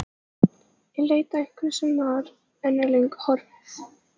Í leit að einhverju sem var, en er löngu horfið.